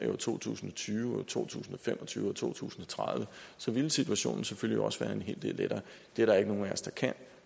år to tusind og tyve og to tusind og fem og tyve og to tusind og tredive så ville situationen selvfølgelig også være en hel del lettere det er der ikke nogen af os der kan og